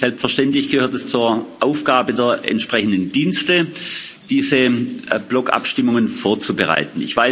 Selbstverständlich gehört es zur Aufgabe der entsprechenden Dienste, diese Blockabstimmungen vorzubereiten.